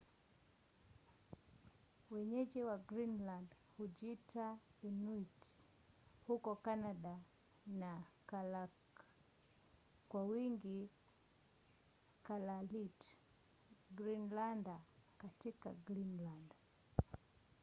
wenyeji wa greenland hujiita inuit huko canada na kalaalleq kwa wingi kalaalit greenlander katika greenland